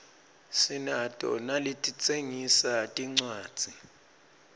sinato naletitsengisa tincuadzi